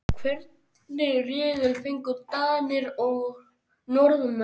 Hvernig riðil fengu Danir og Norðmenn?